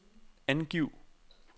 angiv